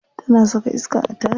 Tana saka iska a taya.